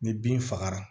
Ni bin fagara